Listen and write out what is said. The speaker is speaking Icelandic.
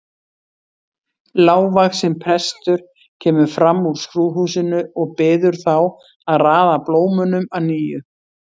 Lágvaxinn prestur kemur fram úr skrúðhúsinu og biður þá að raða blómunum að nýju.